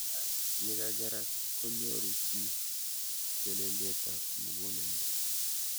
Yekakerak konyoru chi telelet ab mukuleldo.